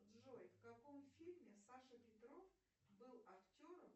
джой в каком фильме саша петров был актером